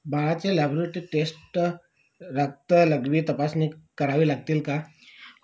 बाळाचे laboratory test रक्त लघवी तपासणी करावी लागतील का